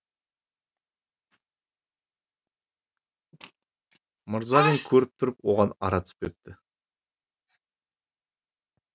мырзалин көріп тұрып оған ара түспепті